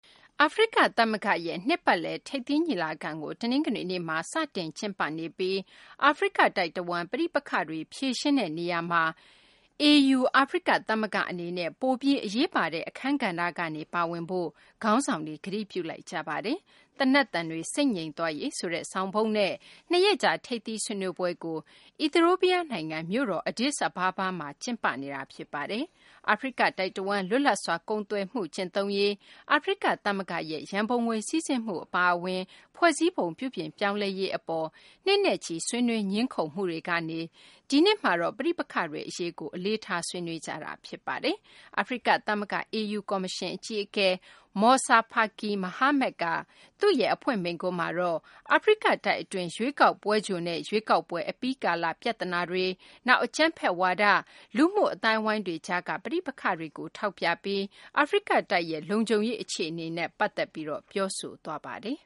အာဖရိကသမဂ္ဂရဲ့ နှစ်ပတ်လည် ထိပ်သီးညီလာခံကို တနင်္ဂနွေနေ့က စတင်ကျင်းပနေပြီး အာဖရိကတိုက်တဝန်း ပဋိပက္ခတွေကို ဖြေရှင်းတဲ့နေရာမှာ အာဖရိကသမဂ္ဂအနေနဲ့ ပိုပြီး အရေးပါတဲ့ အခန်းကဏ္ဍကနေ ပါဝင်ဖို့ ခေါင်းဆောင်တွေက ကတိပြုလိုက်ကြပါတယ်။ သေနတ်သံတွေ ဆိတ်ငြိမ်သွားရေးဆိုတဲ့ ဆောင်ပုဒ်နဲ့ ၂ ရက်ကြာ ထိပ်သီး ဆွေးနွေးပွဲကို အီသီယိုးပီးယားနိုင်ငံ မြို့တော် Addis Ababa မှာ ကျင်းပနေတာ ဖြစ်ပါတယ်။ အာဖရိကတိုက်တဝန်း လွတ်လပ်စွာ ကုန်သွယ်မှု ကျင့်သုံးရေး၊ အာဖရိကသမဂ္ဂရဲ့ ရန်ပုံငွေစီးဆင်းမှု အပါအဝင် ဖွဲ့စည်းပုံ ပြုပြင်ပြောင်းလဲရေးအပေါ် နှစ်နဲ့ချီ ဆွေးနွေးငြင်းခုံမှုတွေကနေ ဒီနှစ်မှာတော့ ပဋိပက္ခတွေအရေးကို အလေးထား ဆွေးနွေးကြတာ ဖြစ်ပါတယ်။ အာဖရိကသမဂ္ဂ (AU) ကော်မရှင်အကြီးအကဲ Moussa Faki Mahamat က သူ့ရဲ့ အဖွင့်မိန့်ခွန်းမှာတော့ အာဖရိကတိုက်အတွင်း ရွေးကောက်ပွဲကြိုနဲ့ ရွေးကောက်ပွဲ အပြီးကာလ ပြဿနာတွေ၊ နောက် အကြမ်းဖက်ဝါဒ၊ လူမှုအသိုင်းအဝိုင်းတွေကြားက ပဋိပက္ခတွေကို ထောက်ပြပြီး အာဖရိကတိုက်ရဲ့ လုံခြုံရေးအခြေအနေနဲ့ ပတ်သက်ပြီး ပြောဆိုသွားပါတယ်